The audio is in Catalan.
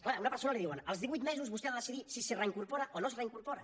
clar a una persona li diuen als divuit mesos vostè ha de decidir si es reincorpora o no es reincorpora